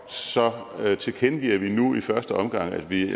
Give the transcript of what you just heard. tilkendegiver vi nu i første omgang at vi